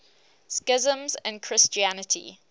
schisms in christianity